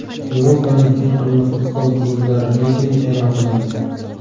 Yevropaning eng qimmat futbol klublari reytingi e’lon qilindi.